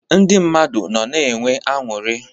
Ndị mmadụ nọ na enwe anụrị.